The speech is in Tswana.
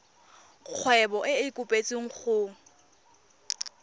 kgwebo e e kopetswengcc go